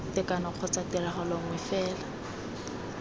tekano kgotsa tiragalo nngwe fela